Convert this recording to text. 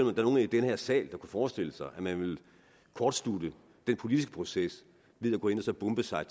der er nogen i den her sal der forestille sig at man ville kortslutte den politiske proces ved at gå ind og så bombe sig